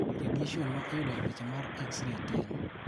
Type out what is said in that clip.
Radiation ma iyudo epicha mar x-ray tin.